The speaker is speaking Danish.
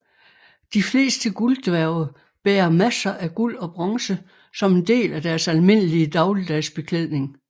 De fleste gulddværge bærer masser af guld og bronze som en del af deres almindelige dagligdags beklædning